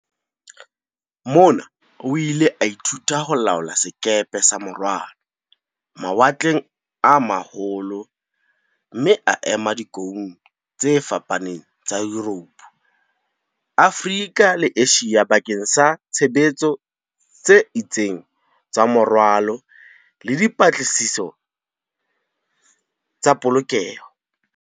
Mona o ile a ithuta ho laola sekepe sa morwalo, mawatleng a ma holo mme a ema dikoung tse fapaneng tsa Yuropo, Afrika le Asia bakeng sa tshebetso tse itseng tsa morwalo le di -patlisiso tsa polokeho.